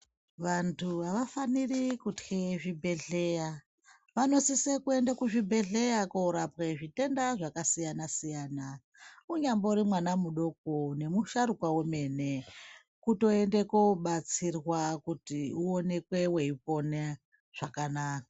Vantu avafaniri kutya zvebhehleya, vanosisa kuenda kuzvibhehleya korapwa zvitenda zvakasiya siyana. Unyanbori mwana mudoko nemusharukwa wemene kutoende kobatsirwa kuti uwonekwe weipona zvakanaka.